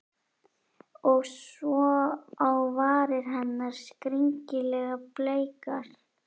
Og svo á varir hennar, skringilega bleikar.